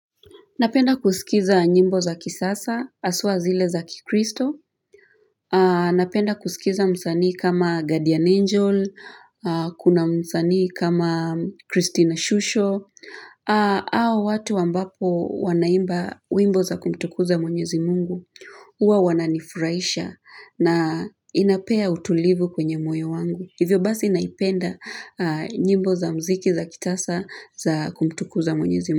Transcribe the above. Napenda kuskiza nyimbo za kisasa, aswa zile za kikristo. Napenda kuskiza msanii kama guardian angel, kuna msanii kama Christina Shusho, au watu ambapo wanaimba wimbo za kumtukuza mwenyezi Mungu. Hua wananifuraisha na inapea utulivu kwenye moyo wangu. Hivyo basi naipenda nyimbo za mziki za kitasa za kumtukuza mwenyezi Mungu.